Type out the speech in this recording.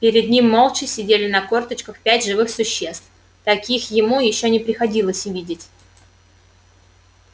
перед ним молча сидели на корточках пять живых существ таких ему ещё не приходилось видеть